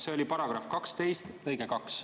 See on § 12 lõige 2.